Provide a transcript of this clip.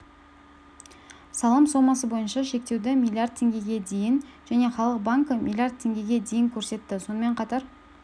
салым сомасы бойынша шектеуді миллиард теңгеге дейін және халық банкі миллиард теңгеге дейін көрсетті сонымен қатар